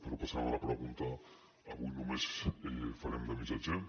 però passant a la pregunta avui només farem de missatgers